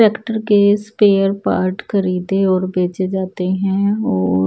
tractor के spare part खरीदे और भेजे जाते हैं और--